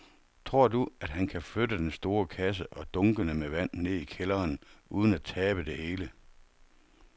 Tror du, at han kan flytte den store kasse og dunkene med vand ned i kælderen uden at tabe det hele?